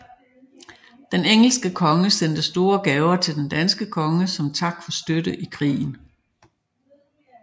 Den engelske konge sendte store gaver til den danske konge som tak for støtte i krigen